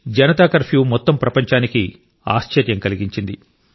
Janata curfew మొత్తం ప్రపంచానికి ఆశ్చర్యం కలిగించింది